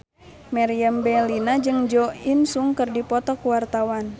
Meriam Bellina jeung Jo In Sung keur dipoto ku wartawan